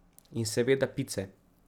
In seveda pice.